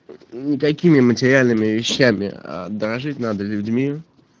никакими материальными вещами а дорожить надо людьми